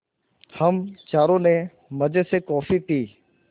हम चारों ने मज़े से कॉफ़ी पी